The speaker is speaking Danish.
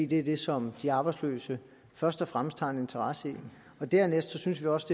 det er det som de arbejdsløse først og fremmest har en interesse i og dernæst synes vi også